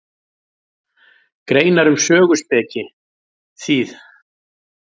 Greinar um söguspeki, þýð.